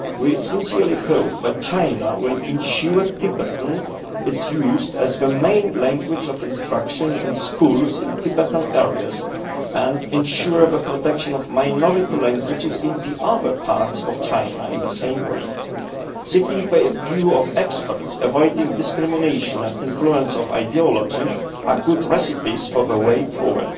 We sincerely hope that China will ensure that Tibetan is used as the main language of instruction in schools in Tibetan areas and ensure the protection of minority languages in the other parts of China in the same way. Seeking the view of experts and avoiding discrimination and the influence of ideology are good recipes for the way forward.